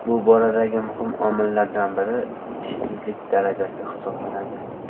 Bu boradagi muhim omillardan biri ishsizlik darajasi hisoblanadi.